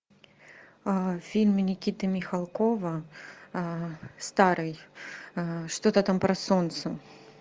фильм никиты михалкова старый что то там про солнце